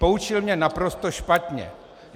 Poučil mě naprosto špatně.